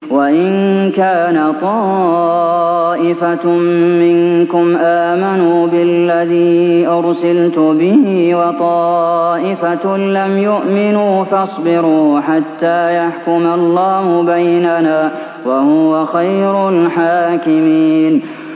وَإِن كَانَ طَائِفَةٌ مِّنكُمْ آمَنُوا بِالَّذِي أُرْسِلْتُ بِهِ وَطَائِفَةٌ لَّمْ يُؤْمِنُوا فَاصْبِرُوا حَتَّىٰ يَحْكُمَ اللَّهُ بَيْنَنَا ۚ وَهُوَ خَيْرُ الْحَاكِمِينَ